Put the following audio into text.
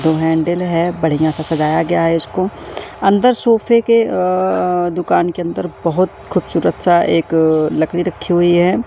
Handle हैं बढ़िया सा सजाया गया हैं इसको अंदर सोफे के अ दुकान के अंदर बहोत खूबसूरत सा एक लकड़ी रखी हुई है।